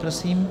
Prosím.